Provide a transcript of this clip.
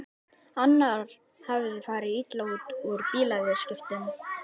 Annar hafði farið illa út úr bílaviðskiptum.